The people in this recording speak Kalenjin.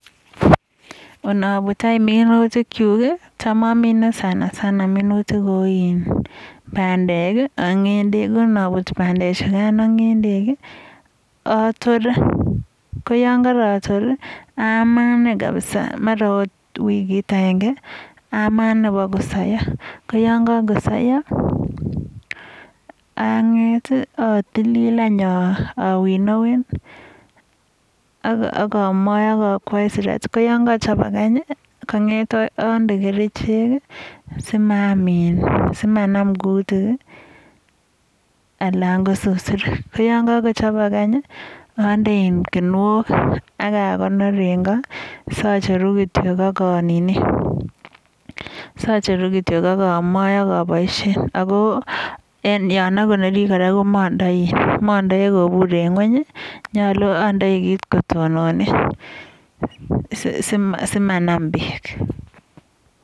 Anabut anyun minutik chu, cham amine sanasana , minutik kou pandek ak nyendek. anaput pandek chukan ak nyendek atore. Koyon karator ama mara wikit agenge. Ama ine boko soiyo. Koyonkakosoiyo ang'et atilil awinowen ,akamoe ak akwoe siratik. Koyonkakochopak, ande kerichek simaam kutik anan ko susurik. koyonkakochobok anyun ande kinuok, ak a konor eng ko. Sacheru kityo ak amoe ak aboishen. En yono en ko kora komandei kobur en ng'uony. Nyolu andei kit kotonone simanam bek.